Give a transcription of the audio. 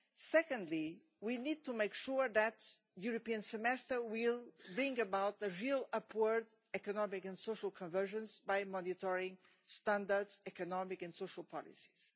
Secondly, we need to make sure that the European Semester will bring about real upward economic and social conversions by monitoring standards, economic and social policies.